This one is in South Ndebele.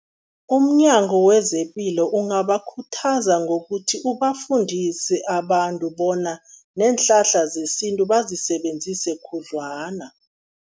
UmNyango wezePilo ungabakhuthaza ngokuthi ubafundise abantu bona, neenhlahla zesintu bazisebenzise khudlwana.